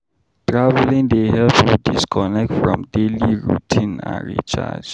Traveling dey help you disconnect from daily routine and recharge.